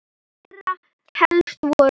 Þeirra helst voru